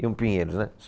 E o Pinheiros, né?